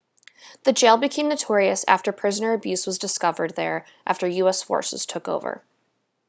the jail became notorious after prisoner abuse was discovered there after us forces took over